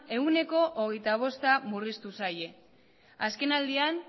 ehuneko hogeita bosta murriztu zaie azkenaldian